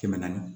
Kɛmɛ naani